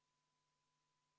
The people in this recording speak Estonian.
Tänan, austatud aseesimees!